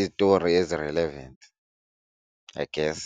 izitori ezi-relevant I guess.